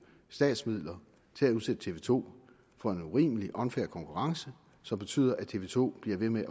statsmidler til at udsætte tv to for en urimelig unfair konkurrence som betyder at tv to bliver ved med at